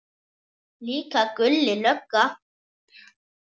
Líka Gulli lögga.